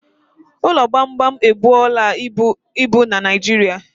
Ụlọ gbamgbam ebuola ibu na Naịjirịa